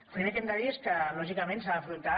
el primer que hem de dir és que lògicament s’ha d’afrontar